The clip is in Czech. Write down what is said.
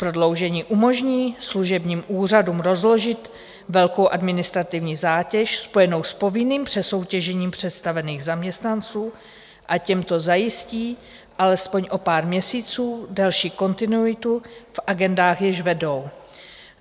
Prodloužení umožní služebním úřadům rozložit velkou administrativní zátěž spojenou s povinným přesoutěžením představených zaměstnanců a těmto zajistí alespoň o pár měsíců další kontinuitu v agendách, jež vedou.